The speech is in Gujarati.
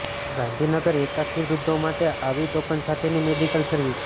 ગાંધીનગરના એકાકી વૃદ્ધો માટે આવી ટોકન સાથેની મેડિકલ સર્વિસ